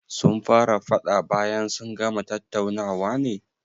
Sun fara faɗa bayan sun gama tattaunawa ne